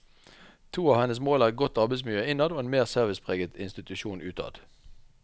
To av hennes mål er et godt arbeidsmiljø innad og en mer servicepreget institusjon utad.